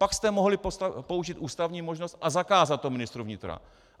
Pak jste mohli použít ústavní možnost a zakázat to ministru vnitra.